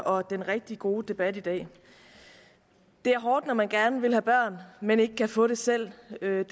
og den rigtig gode debat i dag det er hårdt når man gerne vil have børn men ikke kan få dem selv jeg